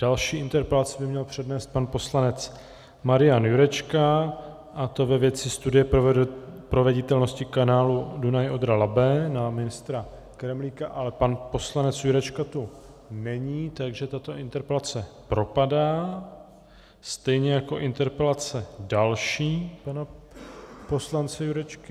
Další interpelaci by měl přednést pan poslanec Marian Jurečka, a to ve věci studie proveditelnosti kanálu Dunaj-Odra-Labe na ministra Kremlíka, ale pan poslanec Jurečka tu není, takže tato interpelace propadá, stejně jako interpelace další pana poslance Jurečky.